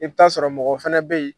I bɛ ta sɔrɔ mɔgɔw fɛnɛ bɛ ye